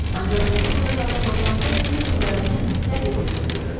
Ancaq indi burda qarşılaşanda bir-birlərini rəqib gözündə gördülər.